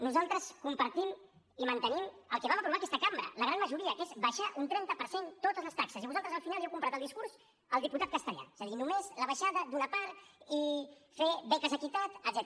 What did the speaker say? nosaltres compartim i mantenim el que vam aprovar aquesta cambra la gran majoria que és abaixar un trenta per cent totes les taxes i vosaltres al final li heu comprat el discurs al diputat castellà és a dir només la baixada d’una part i fer beques equitat etcètera